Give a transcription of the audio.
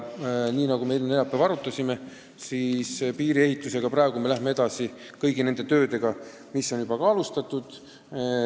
Neljapäeval me arutasime, et piiriehitusel läheme praegu edasi kõigi nende töödega, mida on juba alustatud.